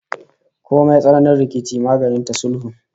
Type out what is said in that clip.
Komai tsananin rikici maganin sa sulhu